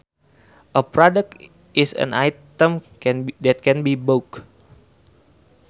A product is an item that can be bought